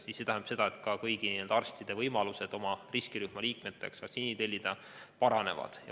See tähendab seda, et kõigi arstide võimalused oma riskirühma liikmetele vaktsiini tellida paranevad.